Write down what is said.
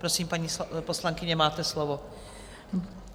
Prosím, paní poslankyně, máte slovo.